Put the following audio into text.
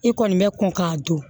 I kɔni bɛ kɔn k'a don